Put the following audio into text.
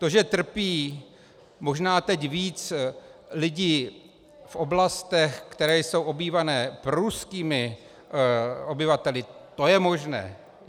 To, že trpí možná teď víc lidi v oblastech, které jsou obývané proruskými obyvateli, to je možné.